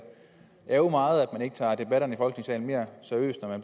ærgre meget at man ikke tager debatterne i folketingssalen mere seriøst og at